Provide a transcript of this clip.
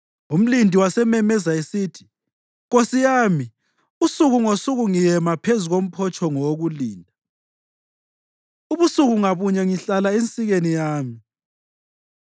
Umlindi wasememeza esithi, “Nkosi yami, usuku ngosuku ngiyema phezu komphotshongo wokulinda; ubusuku ngabunye ngihlala ensikeni yami.